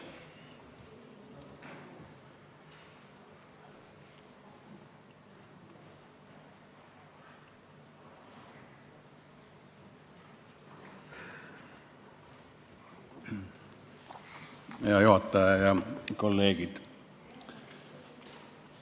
Hea juhataja ja kolleegid!